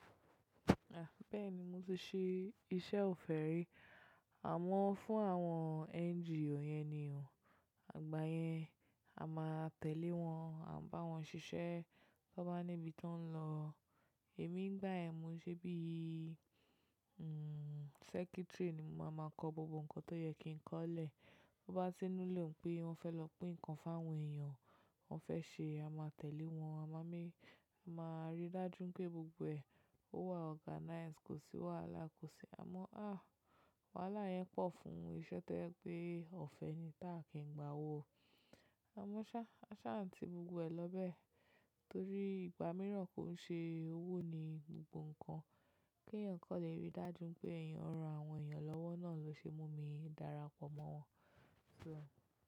Bẹ́ẹ̀ni mo ti ṣe iṣẹ́ ọ̀fẹ́ rí, àmọ́ fún àwọn NGO yẹn ni o, igbáyén a máa tẹ̀lé wọn, a bá wọn ṣiṣẹ́ tó bá níbi tó ń lọ. Èmi nígbà ẹ mo ṣebí, hm, secretary ni mo máa máa kọ gbogbo nǹkan tó yẹ kí n kọ́lẹ̀. Bo bá ti inú lè wípé wọn fẹ́ lọ pín nǹkan fún àwọn èèyàn, wọ́n fẹ́ ṣe a máa tẹ̀lé wọn, a máa rí dájú pé gbogbo ẹ, ó wà organized, kò sí wàhálà kò sí. Àmọ́ a, wàhálà yẹn pọ̀ fún iṣẹ́ tẹ́ ẹ pé ọ̀fẹ́ yẹn táà kì ń gba owó. A mọ̀ sá, a sá à ti gbogbo ẹ lọ bẹ́ẹ̀ torí ìgbà mìíràn kó ń ṣe owó ni gbogbo nǹkan. Kí èèyàn kò lè rí dájú pé ẹ̀yàn ran àwọn èèyàn lọ́wọ́ náà ló ṣe mú mi dára pọ̀ mọ́ wọn.